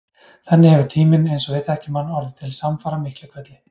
Þannig hefur tíminn, eins og við þekkjum hann, orðið til samfara Miklahvelli.